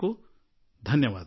ಅನಂತಾನಂತ ಧನ್ಯವಾದಗಳು